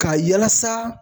Ka yalasa